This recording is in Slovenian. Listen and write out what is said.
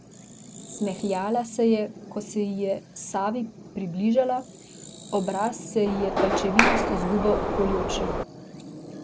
Smehljala se je, ko se ji je Savi približala, obraz se ji je pajčevinasto zgubal okoli oči.